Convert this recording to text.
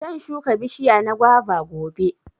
zan shuka bishiya na guava gobe.